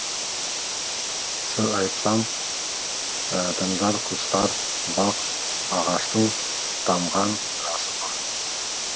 сыр айтсам тыңдар құстар бақ ағаштың тамған жасы нұр